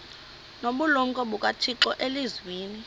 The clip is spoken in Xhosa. nobulumko bukathixo elizwini